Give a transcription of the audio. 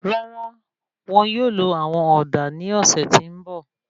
Rárá, won yóò lo àwọn òdà ní ọsẹ ti n bọ